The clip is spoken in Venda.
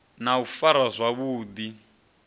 na u farwa zwavhu ḓi